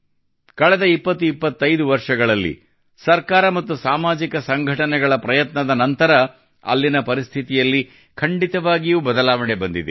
ಕಳೆದ 2025 ವರ್ಷಗಳಲ್ಲಿ ಸರ್ಕಾರ ಮತ್ತು ಸಾಮಾಜಿಕ ಸಂಘಟನೆಗಳ ಪ್ರಯತ್ನದ ನಂತರ ಅಲ್ಲಿನ ಪರಿಸ್ಥಿತಿಯಲ್ಲಿ ಖಂಡಿತವಾಗಿಯೂ ಬದಲಾವಣೆ ಬಂದಿದೆ